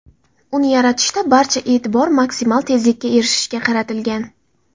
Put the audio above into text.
Uni yaratishda barcha e’tibor maksimal tezlikka erishishga qaratilgan.